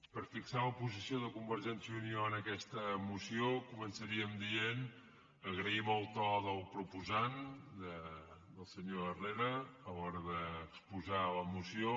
per fixar la posició de convergència i unió en aquesta moció començaríem dient agraïm el to del proposant del senyor herrera a l’hora d’exposar la moció